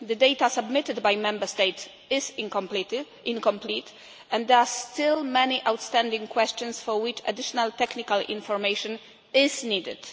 The data submitted by Member States is incomplete and there are still many outstanding questions for which additional technical information is still needed.